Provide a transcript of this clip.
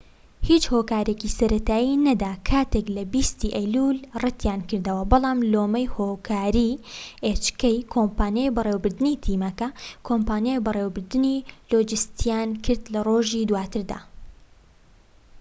کۆمپانیای بەڕێوەبردنی تیمەکە کۆمپانیای بەڕێوەبردنی hk هیچ هۆکارێکی سەرەتایی نەدا کاتێک لە 20ی ئەیلولی ڕەتیانکردەوە بەڵام لۆمەی هۆکاری لۆجستیان کرد لە ڕۆژی دواتردا